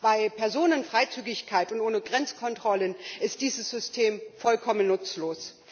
Bei Personenfreizügigkeit und ohne Grenzkontrollen ist dieses System vollkommen nutzlos.